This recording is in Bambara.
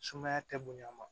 Sumaya tɛ bonya ma